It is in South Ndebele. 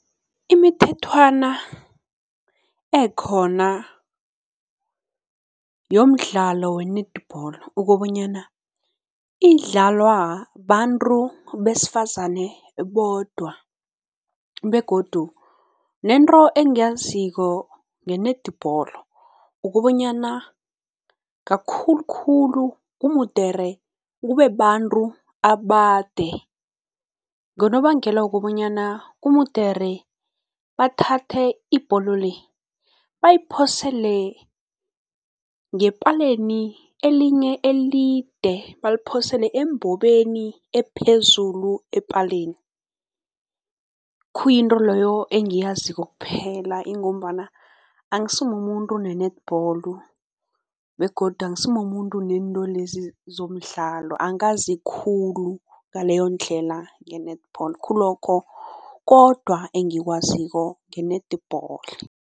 Imithethwana ekhona yomdlalo we-netball ukobanyana, idlalwa bantu besifazane bodwa begodu nento engiyaziko nge-netball ukobanyana kakhulukhulu kumudere kubeabantu abade ngonobangela wokobanyana kumudere bathathe ibholo le, bayiphosele ngepaleni elinye elide, baliphosele embobeni ephezulu epaleni. Khuyinto loyo engiyaziko kuphela ingombana angisimumuntu ne-netball begodu angisimumuntu nento lezi zemidlalo, angazi khulu ngaleyondlela nge-netball khululokho kodwa engikwaziko nge-netball.